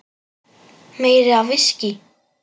Meira viskí.